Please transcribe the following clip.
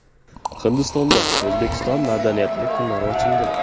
Hindistonda O‘zbekiston madaniyati kunlari ochildi.